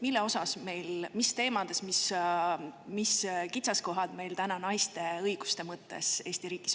Mille osas ja mis teemades on meil täna Eesti riigis kitsaskohad naiste õiguste mõttes?